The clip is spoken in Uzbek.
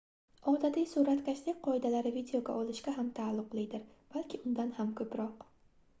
odatiy suratkashlik qoidalari videoga olishga ham taalluqlidir balki undan ham koʻproq